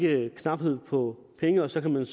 er knaphed på penge og så kan man